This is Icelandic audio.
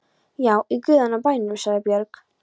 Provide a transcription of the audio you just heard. Já, í guðanna bænum, sagði Björg.